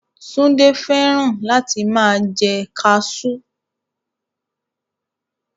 Túndé fẹ́ràn láti máa jẹ kaasú